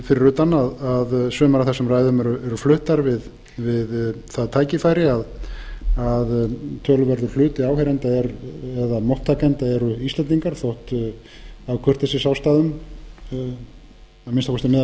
fyrir utan að sumar af þessum ræðum eru fluttar við það tækifæri að töluverður hluti áheyrenda eða móttakenda eru íslendingar þótt af kurteisisástæðum að minnsta kosti meðal